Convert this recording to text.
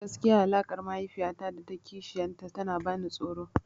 Gaskiya alaƙar mahaifiya ta da kishiyar ta tana ban tsoro.